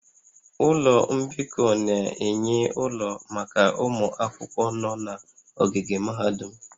Ụlọ mbikọ na-enye ụlọ maka ụmụ akwụkwọ nọ n'ogige mahadum